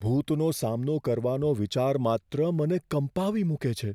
ભૂતનો સામનો કરવાનો વિચાર માત્ર, મને કંપાવી મૂકે છે.